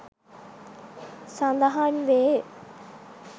සඳහන් වේ